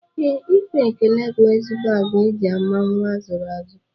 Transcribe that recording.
Ee, ikwe ekele bụ ezigbo agwa e ji ama nnwa a zụrụ azụ